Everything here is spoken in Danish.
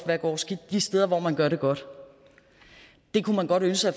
der går skidt de steder hvor man gør det godt det kunne man godt ønske